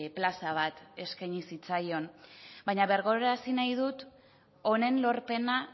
plaza bat eskaini zitzaion baina birgogorazi nahi dut honen lorpena